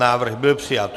Návrh byl přijat.